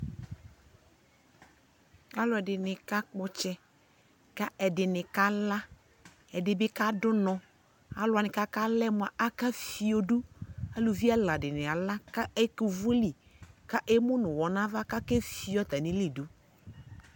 alʋɛdini ka kpɔ ɔtsɛ kɛ ɛdini kala, ɛdibi kadʋnɔ, alʋ wani kalaɛ mʋa akɛ ƒiɔdʋ, alʋvi ɛla dini ala kɛ ɛkʋ ʋvʋli kɛ ɛmʋnʋ ʋwɔ nʋ ala ka akɛ fiɔ atamili dʋ